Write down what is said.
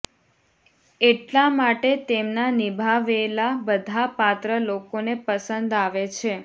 એટલા માટે તેમના નીભાવેલા બધા પાત્ર લોકોને પસંદ આવે છે